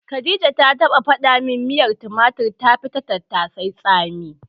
Khadija ta taɓa faɗa min miyar tumatir tafi ta tattasai tsami.